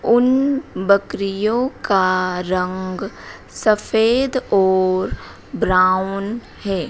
उन बकरियों का रंग सफेद और ब्राउन है।